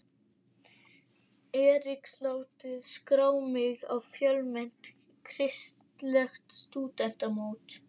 Eriks látið skrá mig á fjölmennt kristilegt stúdentamót.